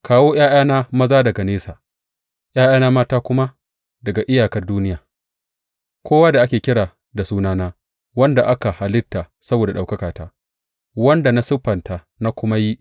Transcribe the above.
Kawo ’ya’yana maza daga nesa ’ya’yana mata kuma daga iyakar duniya, kowa da ake kira da sunana, wanda aka halitta saboda ɗaukakata, wanda na siffanta na kuma yi.